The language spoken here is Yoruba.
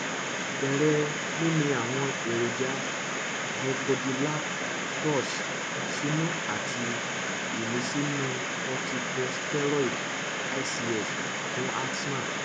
bere mimi àwọn èròjà bronchodilators sinu àti imisinu corticosteroid ics fún asthma